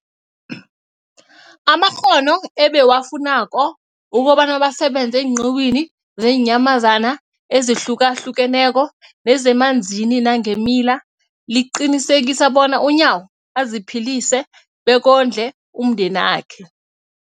amakghono ebawafunako ukobana basebenze eenqiwini zeenyamazana ezihlukahlukeneko nezemanzini nangeemila, liqinisekisa bona uNyawo aziphilise bekondle nomndenakhe.